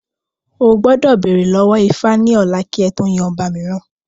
O gbọ́dọ̀ bèrè lọ́wọ́ ifá ní ọ̀la kí ẹ tó yan ọba mìíràn